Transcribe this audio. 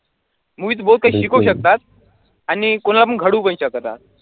movies बहुतेक शिकवू शकतात आणि कोणाला पण घडवू पण शकतात.